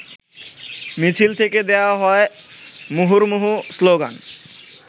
মিছিল থেকে দেয়া হয় মুহুর্মুহু স্লোগান।